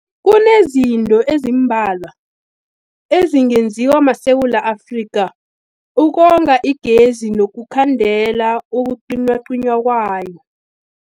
Kunezinto ezimbalwa ezingenziwa maSewula Afrika ukonga igezi nokukhandela ukucinywacinywa kwayo.